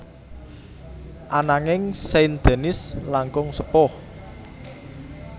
Ananging Saint Denis langkung sepuh